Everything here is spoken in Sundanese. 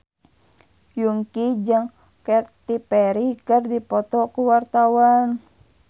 Yongki jeung Katy Perry keur dipoto ku wartawan